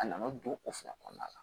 A nana don o fila kɔnɔna la